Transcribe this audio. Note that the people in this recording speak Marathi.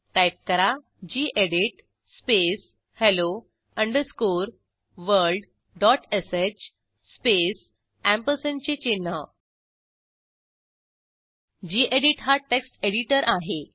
टाईप करा गेडीत space hello underscore world dot sh space अँपरसँडचे चिन्ह गेडीत हा टेक्स्ट एडिटर आहे